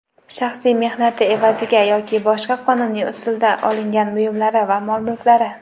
shaxsiy mehnati evaziga yoki boshqa qonuniy usulda olingan buyumlari va mol-mulklari.